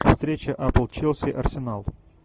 встреча апл челси арсенал